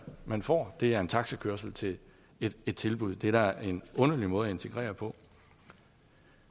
man får er taxakørsel til et tilbud det er da en underlig måde at integrere på